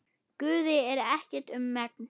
Guði er ekkert um megn.